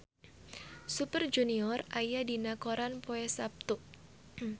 Super Junior aya dina koran poe Saptu